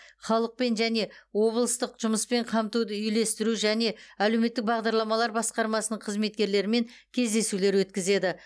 халықпен және облыстық жұмыспен қамтуды үйлестіру және әлеуметтік бағдарламалар басқармасының қызметкерлерімен кездесулер өткізеді